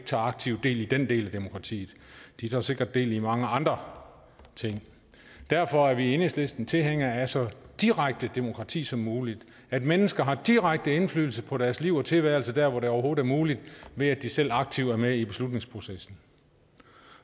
tager aktivt del i den del af demokratiet de tager sikkert del i mange andre ting derfor er vi i enhedslisten tilhængere af så direkte demokrati som muligt at mennesker har direkte indflydelse på deres liv og tilværelse der hvor det overhovedet er muligt ved at de selv aktivt er med i beslutningsprocessen